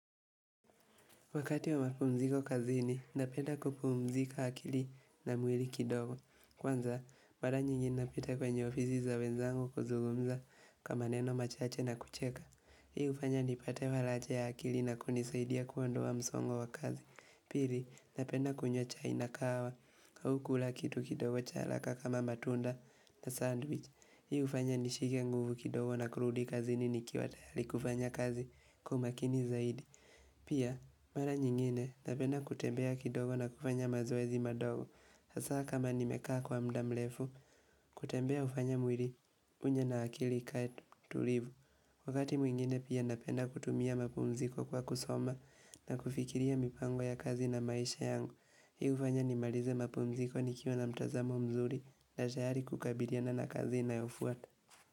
Wakati wa mapumziko kazini, napenda kupumzika akili na mwili kidogo. Kwanza, mara nyingi napita kwenye ofisi za wenzangu kuzugumza kama neno machache na kucheka. Hii hufanya nipate faraja ya akili na kunisaidia kuondoa msongo wa kazi. Pili, napenda kunywa chai na kahawa, au kula kitu kidogo cha haraka kama matunda na sandwich. Hii hufanya nishike nguvu kidogo na kurudi kazini nikiwa tayari kufanya kazi kwa umakini zaidi. Pia, mara nyingine napenda kutembea kidogo na kufanya mazoezi madogo. Hasa kama nimekaa kwa muda mrefu, kutembea hufanya mwili unya na akili ikae tulivu. Wakati mwingine pia napenda kutumia mapumziko kwa kusoma na kufikiria mipango ya kazi na maisha yangu. Hii hufanya nimalize mapumziko nikiwa na mtazamo mzuri na tayari kukabiliana na kazi inayofuata.